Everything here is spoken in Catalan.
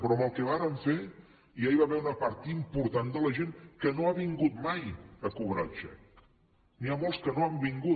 però amb el que vàrem fer ja hi va haver una part important de la gent que no ha vingut mai a cobrar el xec n’hi ha molts que no han vingut